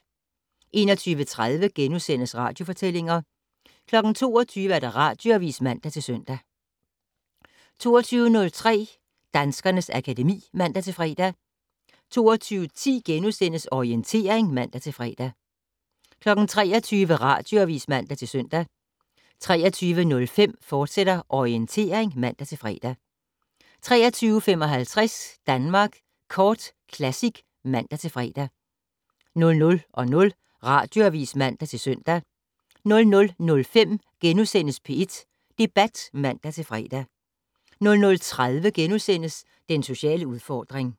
21:30: Radiofortællinger * 22:00: Radioavis (man-søn) 22:03: Danskernes akademi (man-fre) 22:10: Orientering *(man-fre) 23:00: Radioavis (man-søn) 23:05: Orientering, fortsat (man-fre) 23:55: Danmark Kort Classic (man-fre) 00:00: Radioavis (man-søn) 00:05: P1 Debat *(man-fre) 00:30: Den sociale udfordring *